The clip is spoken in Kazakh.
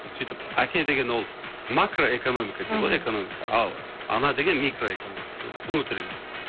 сөйтіп әке деген ол макро экономика дейді ғой мхм экономика ал ана деген микро экономика ол внутренний